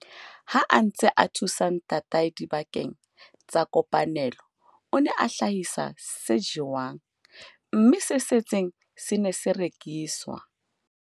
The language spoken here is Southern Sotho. Ha a ntse a thusa ntatae dibakeng tsa kopanelo, o ne a hlahisa se jewang, mme se setseng se ne se rekiswa.